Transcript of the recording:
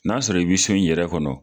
N'a sɔrɔ i bi so in yɛrɛ kɔnɔ